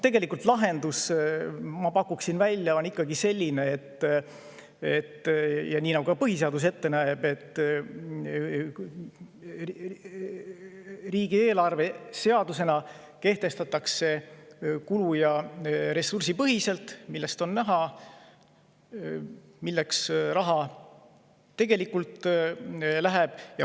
Tegelikult on lahendus, ma pakuksin välja, ikkagi selline – nii nagu ka põhiseadus ette näeb –, et riigieelarve kehtestatakse seadusena kulu- ja ressursipõhiselt, sealt oleks siis näha, milleks raha tegelikult läheb.